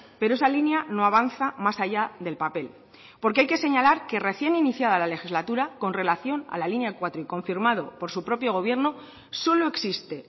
pero esa línea no avanza más allá del papel porque hay que señalar que recién iniciada la legislatura con relación a la línea cuatro y confirmado por su propio gobierno solo existe